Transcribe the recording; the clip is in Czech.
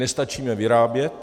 Nestačíme vyrábět.